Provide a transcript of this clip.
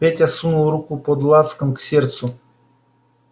петя сунул руку под лацкан к сердцу